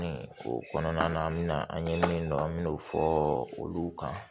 O kɔnɔna na an bɛna an ye min dɔn an mɛna o fɔ olu kan